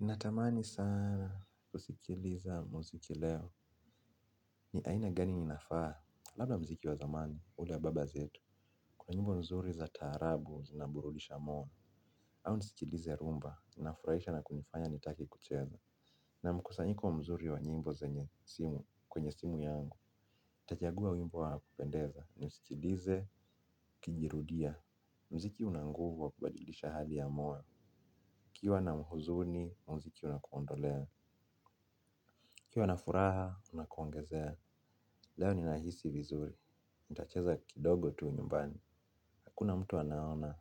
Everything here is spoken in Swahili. Natamani sana usikiliza muziki leo ni aina gani inafaa. Labda muziki wa zamani, ule baba zetu, kwa nyimbo mzuri za tarabu zinaburulisha moyo. Au nisikilize rumba, inafuraisha na kunifanya nitake kucheza. Ninaa mkusanyiko mzuri wa nyimbo zenye asili, kwenye simu yangu. Nitachagua wimbo wa kupendeza, nisikilize ikijirudia. Mziki unanguvu wa kubadilisha hali ya moyo ukiwa unahuzuni, muziki unakuondolea. Ukiwa na furaha, unakuongezea. Leo ni nahisi vizuri nitacheza kidogo tu nyumbani hakuna mtu anaona,